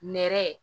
Nɛrɛ